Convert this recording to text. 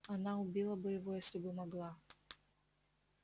она убила бы его если бы могла